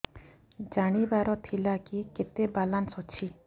ଜାଣିବାର ଥିଲା କି କେତେ ବାଲାନ୍ସ ଅଛି